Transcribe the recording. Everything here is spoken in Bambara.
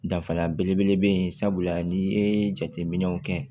Danfara belebele bɛ yen sabula n'i ye jateminɛw kɛ